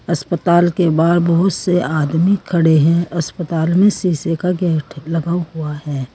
अस्पताल के बाहर बहुत से आदमी खड़े हैं अस्पताल में सीसे का गेट लगा हुआ है।